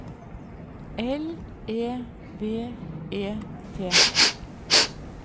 L E V E T